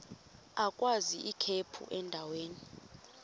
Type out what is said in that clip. agwaz ikhephu endaweni